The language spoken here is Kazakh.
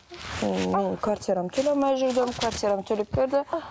ммм мен квартирамды төлей алмай жүрдім квартирамды төлеп берді